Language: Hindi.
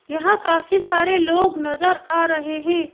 यहां काफी सारे लोग नजर आ रहे हैं.